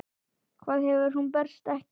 Hvað ef hún berst ekki?